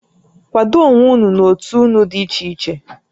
Kwado onwé ụnụ n'ótú ụnụ dị ichè ichè!